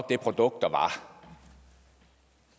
produkt